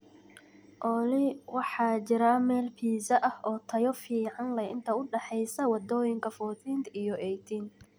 olly waxaa jira meel pizza ah oo tayo fiican leh inta u dhaxaysa wadooyinka 14th iyo 18th